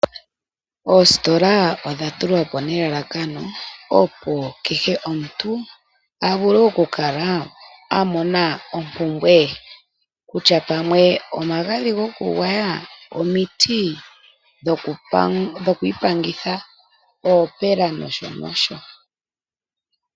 Oositola odha tulwa po nelalakano, opo kehe omuntu a vule oku kala a mona ompumbwe ye kutya pamwe omagadhi goku gwaya, omiti dhokwiipangitha, oopela nosho nosho.